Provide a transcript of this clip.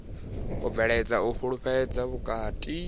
u bveledza u fhulufhelana vhukati